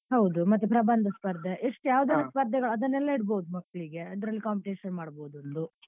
ಹೌದು ಮತ್ತೆ ಪ್ರಬಂಧ ಸ್ಪರ್ಧೆ ಎಷ್ಟು ಯಾವ್ ಯಾವ್ ಸ್ಪರ್ಧೆ ಅದನ್ನೆಲ್ಲ ಇಡ್ಬೋದು ಮಕ್ಳಿಗೆ ಅದ್ರಲ್ಲಿ competition ಮಾಡ್ಬೋದು ಒಂದು.